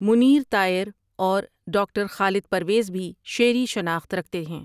منیر طائر اور ڈاکٹر خالد پرویز بھی شعری شناخت رکھتے ہیں ۔